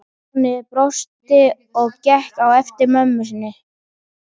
Stjáni brosti og gekk á eftir mömmu inn.